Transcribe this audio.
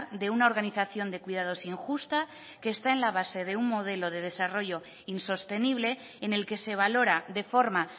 de una organización de cuidados injusta que está en la base de un modelo de desarrollo insostenible en el que se valora de forma